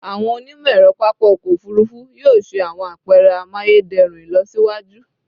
Awọn onimọ-ẹrọ papa ọkọ ofurufu yoo ṣe awọn apẹrẹ amayederun ilọsiwaju